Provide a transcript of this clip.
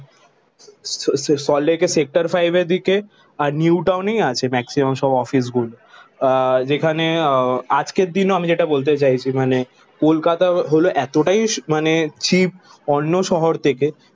স স সল্টলেকের সেক্টর ফাইভের দিকে আর নিউটাউনেই আছে ম্যাক্সিমাম সব অফিসগুলো। আহ যেখানে আহ আজকের দিনে আমি যেটা বলতে চাইছি মানে কলকাতা হলো এতটাই মানে চিপ অন্য শহর থেকে